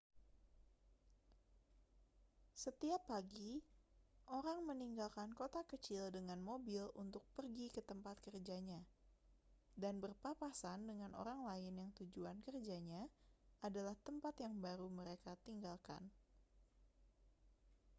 setiap pagi orang meninggalkan kota kecil dengan mobil untuk pergi ke tempat kerjanya dan berpapasan dengan orang lain yang tujuan kerjanya adalah tempat yang baru mereka tinggalkan